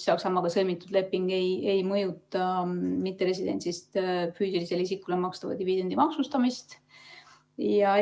Saksamaaga sõlmitud leping ei mõjuta mitteresidendist füüsilisele isikule makstava dividendi maksustamist ja